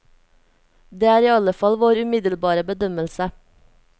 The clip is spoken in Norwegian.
Det er iallfall vår umiddelbare bedømmelse.